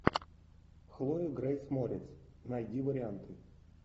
хлоя грейс морец найди варианты